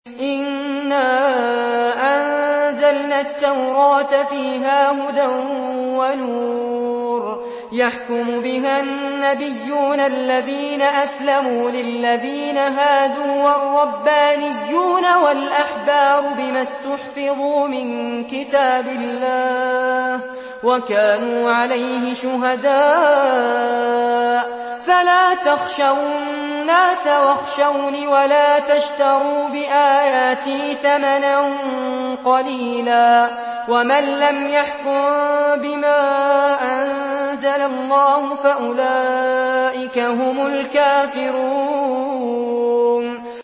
إِنَّا أَنزَلْنَا التَّوْرَاةَ فِيهَا هُدًى وَنُورٌ ۚ يَحْكُمُ بِهَا النَّبِيُّونَ الَّذِينَ أَسْلَمُوا لِلَّذِينَ هَادُوا وَالرَّبَّانِيُّونَ وَالْأَحْبَارُ بِمَا اسْتُحْفِظُوا مِن كِتَابِ اللَّهِ وَكَانُوا عَلَيْهِ شُهَدَاءَ ۚ فَلَا تَخْشَوُا النَّاسَ وَاخْشَوْنِ وَلَا تَشْتَرُوا بِآيَاتِي ثَمَنًا قَلِيلًا ۚ وَمَن لَّمْ يَحْكُم بِمَا أَنزَلَ اللَّهُ فَأُولَٰئِكَ هُمُ الْكَافِرُونَ